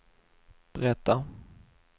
berättar